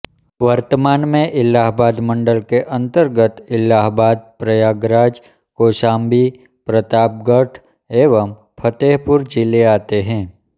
वर्तमान में इलाहाबाद मंडल के अंतर्गत इलाहाबादप्रयागराज कौशांबी प्रतापगढ़ एवं फतेहपुर जिले आते हैं